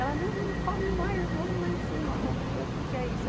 Ela, não, não come mais, vamos lá em cima, vamos ver o que que é isso.